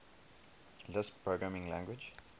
lisp programming language